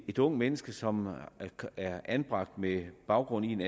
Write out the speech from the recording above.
et ungt menneske som er anbragt med baggrund i en